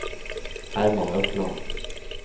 Herman Økland